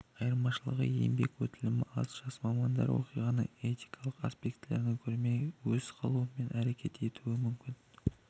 айырмашылығы еңбек өтілі аз жас мамандар оқиғаның этикалық аспектілерін көрмей өз қалауымен әрекет етуі мүмкін